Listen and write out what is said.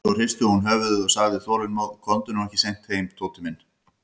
Svo hristi hún höfuðið og sagði þolinmóð: Komdu nú ekki seint heim, Tóti minn.